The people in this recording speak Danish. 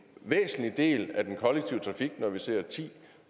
væsentlig del af den kollektive trafik når vi ser ti